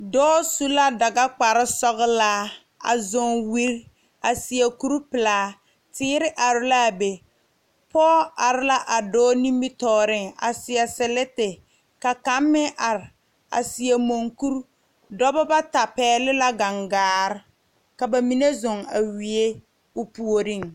Dɔɔ su la daga kpare sɔglaa a zɔŋ wiire a seɛ kuri pelaa teere are laa be pɔge are la a dɔɔ nimitɔɔre a saɛ seleti ka kaŋ meŋ are a seɛ mogre dɔɔbo bata pegle la gangaare ka bamine zɔɔ a wiiɛ o puori.